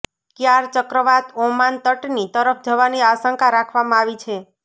ક્યાર ચક્રવાત ઓમાન તટની તરફ જવાની આશંકા રાખવામાં આવી છે